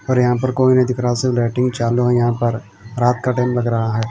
और यहां पर कोई नहीं दिख रहा सिर्फ लाईटें चालू है यहां पर रात का टाइम लग रहा है।